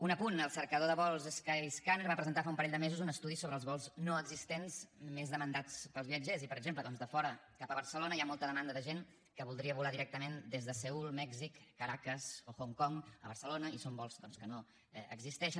un apunt el cercador de vols skyscanner va presentar fa un parell de mesos un estudi sobre els vols no existents més demanats pels viatgers i per exemple doncs de fora cap a barcelona hi ha molta demanda de gent que voldria volar directament des de seül mèxic caracas o hong kong a barcelona i són vols doncs que no existeixen